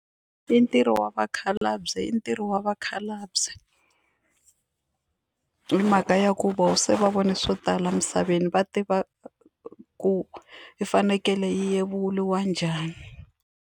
I ntirho wa vakhalabye i ntirho wa vakhalabye hi mhaka ya ku vona se va vone swo tala emisaveni va tiva ku yi fanekele yi yevuriwa njhani.